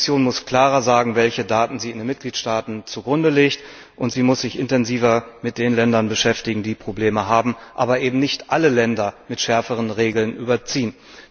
Die Kommission muss klarer sagen, welche Daten sie in den Mitgliedstaaten zugrunde legt, und sie muss sich intensiver mit den Ländern beschäftigen, die Probleme haben, aber eben nicht alle Länder mit schärferen Regeln überziehen.